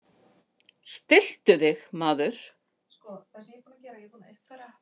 Stilltu þig, maður!